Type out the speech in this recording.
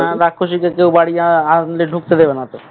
রাক্ষুসী কে কেউ বা~বাড়ি আনলে ঢুকতে দেবে না তো